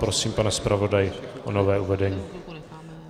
Prosím, pane zpravodaji, o nové uvedení.